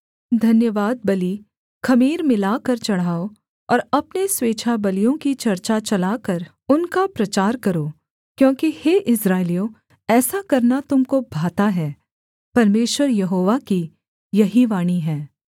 धन्यवादबलि ख़मीर मिलाकर चढ़ाओ और अपने स्वेच्छाबलियों की चर्चा चलाकर उनका प्रचार करो क्योंकि हे इस्राएलियों ऐसा करना तुम को भाता है परमेश्वर यहोवा की यही वाणी है